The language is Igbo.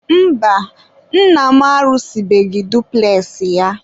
mba, nna am arụsịbeghị dupules ya.